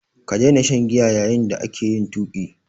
Ka daina shan giya yayin da kake yin tuƙi!